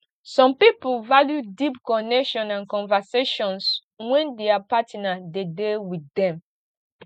some pipo value deep connection and conversations when their partner de dey with them